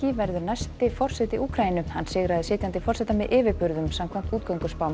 verður næsti forseti Úkraínu hann sigraði sitjandi forseta með yfirburðum samkvæmt